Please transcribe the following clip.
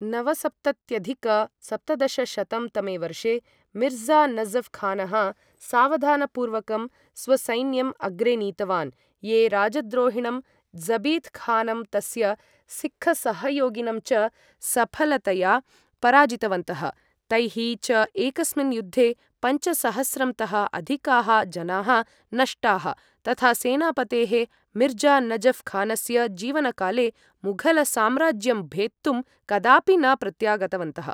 नवसप्तत्यधिक सप्तदशशतं तमे वर्षे मिर्ज़ा नजफ् खानः सावधानपूर्वकं स्वसैन्यम् अग्रे नीतवान्, ये राजद्रोहिणं ज़बीत खानं तस्य सिक्खसहयोगिनं च सफलतया पराजितवन्तः, तैः च एकस्मिन् युद्धे पञ्चसहस्रं तः अधिकाः जनाः नष्टाः तथा सेनापतेः मिर्ज़ा नजफ् खानस्य जीवनकाले मुघलसाम्राज्यं भेत्तुं कदापि न प्रत्यागतवन्तः।